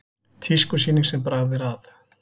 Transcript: Tískusýning sem bragð er að